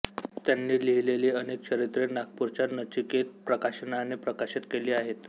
त्यांनी लिहिलेली अनेक चरित्रे नागपूरच्या नचिकेत प्रकाशनने प्रकाशित केली आहेत